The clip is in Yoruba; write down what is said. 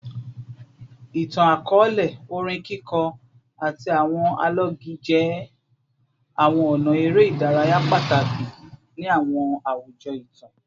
Itan-akọọlẹ, orin kiko, ati awọn alọgi jẹ awọn ọna ere idaraya pataki ni awọn awujọ itan